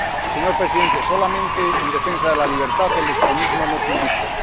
Señor Presidente, solamente en defensa de la libertad, el extremismo no es un vicio